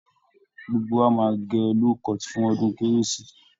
Gbogbo wa máa gẹ low-cut fun ọdún kérésì